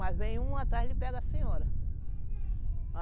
Mas vem um atrás e ele pega a senhora.